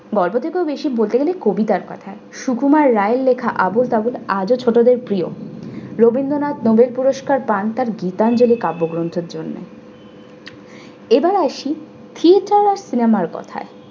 গল্প থেকেও বেশি বলতে গেলে কবিতার কথা। সুকুমার রায়ের লেখা আবোল তাবোল আজও ছোটদের প্রিয়। রবীন্দ্রনাথ noble পুরস্কার পান তার গীতাঞ্জলি কাব্যগ্রন্থের জন্য। এবার আসি theater আর সিনেমার কথায়